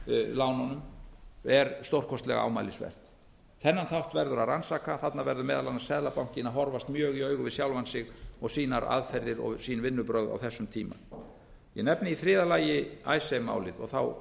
lánunum er stórkostlega ámælisvert þennan þátt verður að rannsaka þarna verður meðal annars seðlabankinn að horfast mjög í augu við sjálfan sig og sínar aðferðir og sín vinnubrögð á þessum tíma ég nefni í þriðja lagi icesave málið og hina